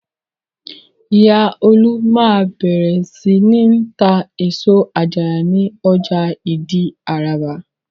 Ìyá Olú máa bẹ̀rẹ̀ sí ní tá èso àjàrà ní ọjà Ìdí-Àràbà.